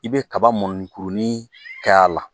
I bɛ kaba mɔnni kurunin kɛ a la